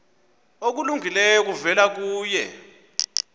okulungileyo kuvela kuye